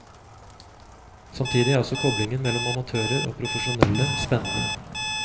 Samtidig er også koblingen mellom amatører og profesjonelle spennende.